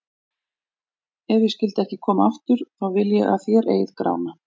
Ef ég skyldi ekki koma aftur, þá vil ég að þér eigið Grána.